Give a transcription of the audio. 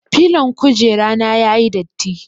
Filon kujera na ya yi datti.